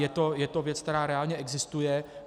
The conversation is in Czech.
Je to věc, která reálně existuje.